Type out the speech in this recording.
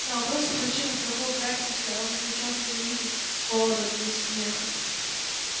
на вопрос о причинах такой мрачности он отвечал что не видит поводов для смеха